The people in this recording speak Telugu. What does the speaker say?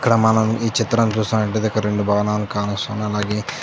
ఇక్కడ మనం ఈ చిత్రం చూస్తున్నట్లయితే ఇక్కడ రెండు భవనాలు కానొస్తున్నాయ్ నాకి --